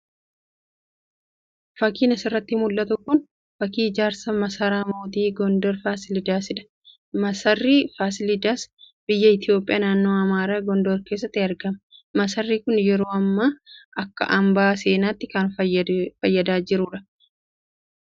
Fakiin asiratti mul'atu kun fakii ijaarsa masara mooti Gondor Faasilidaasidha. Masarri Faasilidas biyya Itoophiyaa naannoo Amaara Gondor keessatti argama. maasarri kun yeroo ammaa akka hambaa seenatti kan fayyadaa jirudha. Masarri Faasilidaas namoota biyya keessaa fi alaatiin kan daawwatamudha.